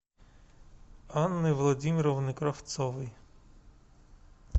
анны владимировны кравцовой